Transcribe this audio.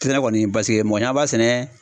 Te ne kɔni paseke mɔgɔ cama b'a sɛnɛ